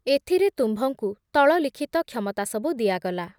ଏଥୁରେ ତୁମ୍ଭଙ୍କୁ ତଳଲିଖିତ କ୍ଷମତା ସବୁ ଦିଆଗଲା ।